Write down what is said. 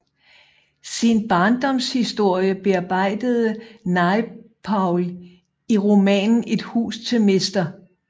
Sin barndomshistorie bearbejdede Naipaul i romanen Et hus til mr